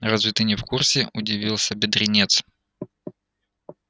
разве ты не в курсе удивился бедренец